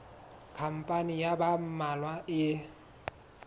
khampani ya ba mmalwa e